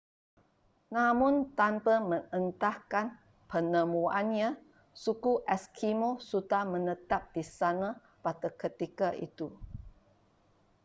namun tanpa mengendahkan penemuannya suku eskimo sudah menetap di sana pada ketika itu